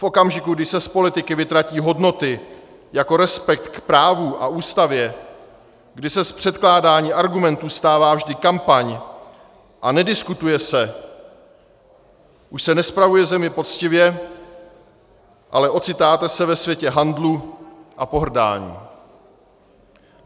V okamžiku, kdy se z politiky vytratí hodnoty jako respekt k právu a Ústavě, kdy se z předkládání argumentů stává vždy kampaň a nediskutuje se, už se nespravuje země poctivě, ale ocitáte se ve světě handlu a pohrdání.